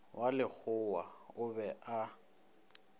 wa lekgowa o be a